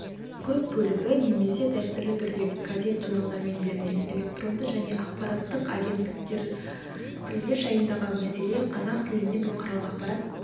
көп бөлігі немесе дәстүрлі түрде газет журналдармен берілген электронды және ақпараттық агенттіктертілдер жайындағы мәселе қазақ тілінде бұқаралық ақпарат